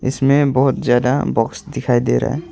इसमें बहोत ज्यादा बॉक्स दिखाई दे रहा--